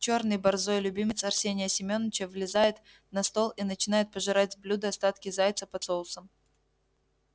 чёрный борзой любимец арсения семёныча взлезает на стол и начинает пожирать с блюда остатки зайца под соусом